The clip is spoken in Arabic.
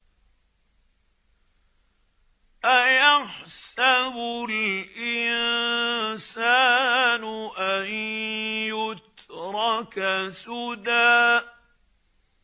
أَيَحْسَبُ الْإِنسَانُ أَن يُتْرَكَ سُدًى